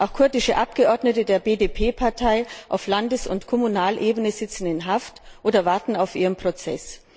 Auch kurdische Abgeordnete der BDP Partei auf Landes und Kommunalebene sitzen in Haft oder warten auf ihren Prozess.